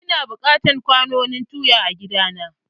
Ina buƙatar kwanon tuya a gida na.